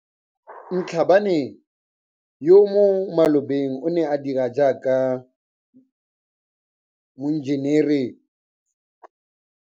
Mhlabane, yo mo malobeng a neng a dira jaaka moenjenere, ga a bolo go loga maano a go tswa mo tirong gore a itshimololele kgwebo ya gagwe ya go aga le go rekisa madulo.